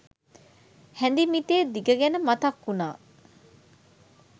හැඳි මිටේ දිග ගැන මතක් වුණා